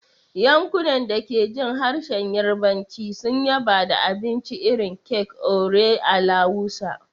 Yankunan da ke jin harshen Yarbanci sun yaba da abincin irin kek "Ore alawusa,"